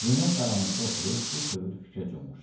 Zeynəb qaranlıqda oturub bu tövr fikrə cummuşdu.